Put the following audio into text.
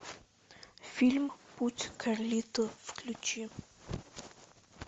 фильм путь карлито включи